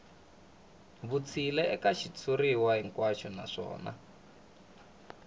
vutshila eka xitshuriwa hinkwaxo naswona